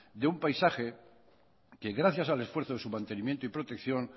de un paisaje que gracias al esfuerzo de su mantenimiento y protección